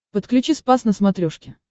подключи спас на смотрешке